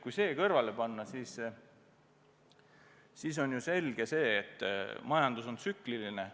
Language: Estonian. Kui see kõrvale panna, siis on ju selge, et majandus on tsükliline.